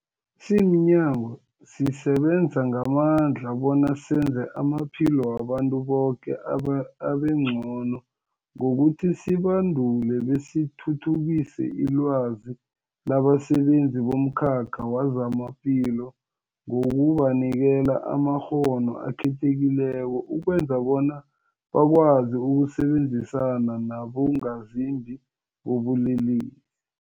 Simnyango, sisebenza ngamandla bona senze amaphilo wabantu boke abe abengcono ngokuthi sibandule besithuthukise ilwazi labasebenzi bomkhakha wezamaphilo ngokubanikela amakghono akhethekileko ukwenzela bona bakwazi ukusebenzisana nabongazimbi bobulele